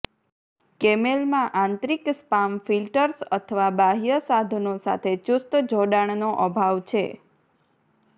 કેમેલમાં આંતરિક spam filters અથવા બાહ્ય સાધનો સાથે ચુસ્ત જોડાણનો અભાવ છે